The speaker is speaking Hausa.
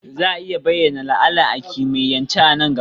Za a iya bayyana la'ana a kimiyyance a nan gaba?